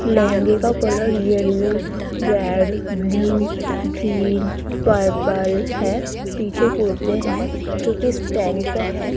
लहंगे का colour yellow red blue green purple है पीछे कुर्ते है जोकि स्टैंड पे है।